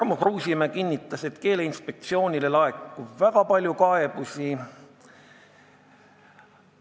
Tarmo Kruusimäe kinnitas, et Keeleinspektsioonile laekub väga palju kaebusi.